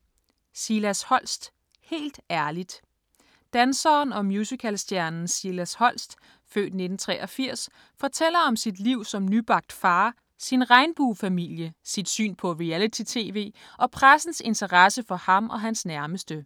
Holst, Silas: Helt ærligt Danseren og musicalstjernen Silas Holst (f. 1983) fortæller om sit liv som nybagt far, sin regnbuefamilie, sit syn på reality-tv og pressens interesse for ham og hans nærmeste.